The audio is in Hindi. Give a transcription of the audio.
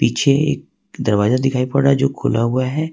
पीछे एक दरवाजा दिखाई पड़ रहा है जो खुला हुआ है।